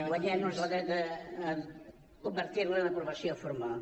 guanyem nos el dret a convertir la en aprovació formal